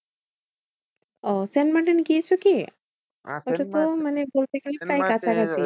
ওহ Saint Martin গিয়েছো কি? ওটা তো মানে বলতে গেলে প্রায় কাছাকাছি।